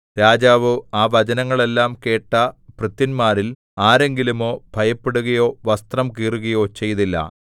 രാജാവോ ആ വചനങ്ങളെല്ലാം കേട്ട ഭൃത്യന്മാരിൽ ആരെങ്കിലുമോ ഭയപ്പെടുകയോ വസ്ത്രം കീറുകയോ ചെയ്തില്ല